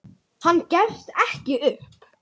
Hann gefst ekki upp.